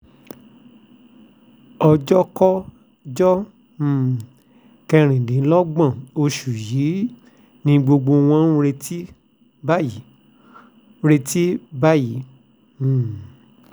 ọjọ́kọ ọjọ́ um kẹrìndínlọ́gbọ̀n oṣù yìí ni gbogbo wọn ń retí báyìí retí báyìí um